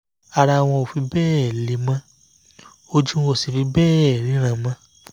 ara wọn ò fi bẹ́ẹ̀ le mọ́ ojú wọn ò sì fi bẹ́ẹ̀ ríran mọ́